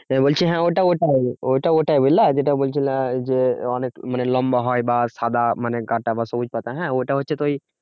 বলছি হ্যাঁ ওটা ওটাই ঐটা ওটাই বুঝলা যেটা বলছিলা যে অনেক লম্বা হয় বা সাদা মানে গাটা বা সবুজ পাতা হ্যাঁ ওটা হচ্ছে তো ওই